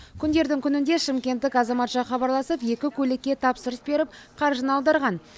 күндердің күнінде шымкенттік азаматша хабарласып екі көйлекке тапсырыс беріп қаржыны аударған